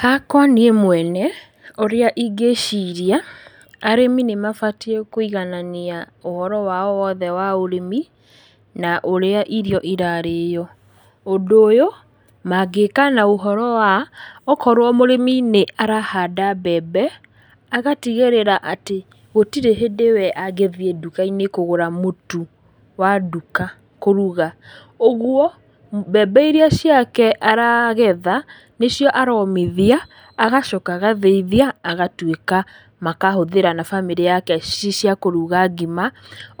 Hakwa niĩ mwene, ũrĩa ingĩciria, arĩmi nĩmabatiĩ kũiganania ũhoro wao wothe wa ũrĩmi, na ũrĩa irio irarĩo, ũndũ ũyũ, mangĩka na ũhoro wa, okorwo mũrĩmi nĩ arahanda mbembe, agatigĩrĩra atĩ gũtirĩ hĩndĩ wee angĩthi nduka-inĩ kũgũra mũtu, wa nduka kũruga, ũguo, mbembe iria ciake aragetha, nĩcio aromithia, agacoka agathĩithia, agatwĩka makahũthĩra na bamĩrĩ yake ci cia kúruga ngima,